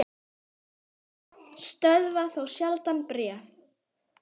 Fjöll stöðva þó sjaldan bréf.